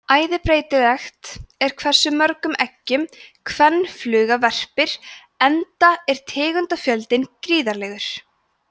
æði breytilegt er hversu mörgum eggjum kvenfluga verpir enda er tegundafjöldinn gríðarlegur